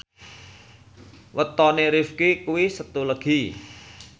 wetone Rifqi kuwi Setu Legi